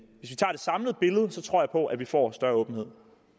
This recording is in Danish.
samlede billede tror jeg på at vi får større åbenhed